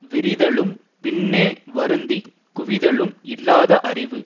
விரிதலும் பின்னே வருந்தி குவிதலும் இல்லாத அறிவு